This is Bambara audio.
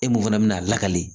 E mun fana bɛna a lakali